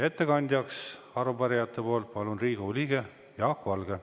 Ettekandeks arupärijate nimel palun siia Riigikogu liikme Jaak Valge.